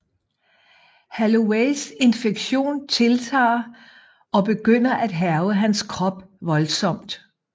Holloways infektion tiltager og begynder at hærge hans krop voldsomt